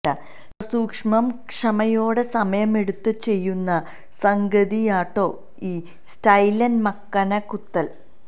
സസൂക്ഷമം ക്ഷമയോടെ സമയമെടുത്ത് ചെയ്യുന്ന സംഗതിയാട്ടോ ഈ സ്റ്റൈലന് മക്കന കുത്തല്